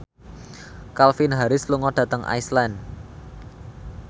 Calvin Harris lunga dhateng Iceland